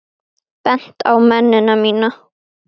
Bent á mennina mína.